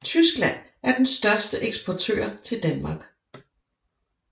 Tyskland er den største eksportør til Danmark